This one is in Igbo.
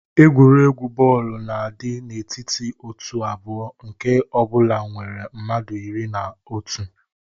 Egwuregwu bọọlụ na-adị n'etiti òtù abụọ, nke ọ bụla nwere mmadụ iri na otu.